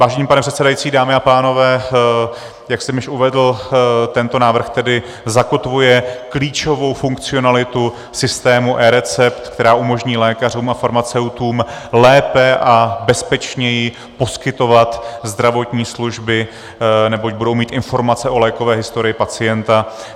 Vážený pane předsedající, dámy a pánové, jak jsem již uvedl, tento návrh tedy zakotvuje klíčovou funkcionalitu systému eRecept, která umožní lékařům a farmaceutům lépe a bezpečněji poskytovat zdravotní služby, neboť budou mít informace o lékové historii pacienta.